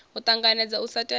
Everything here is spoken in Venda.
a ṱanganedza u sa tevhedzwa